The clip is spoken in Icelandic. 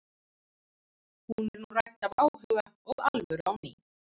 Hún er nú rædd af áhuga og alvöru á ný.